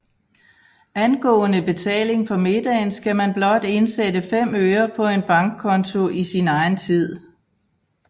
Angående betaling for middagen skal man blot indsætte 5 øre på en bankkonto i sin egen tid